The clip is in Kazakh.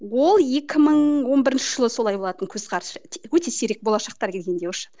ол екі мың он бірінші жылы солай болатын көзқарас өте сирек болашақтар келгенде